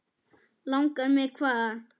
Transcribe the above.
Langar mig hvað?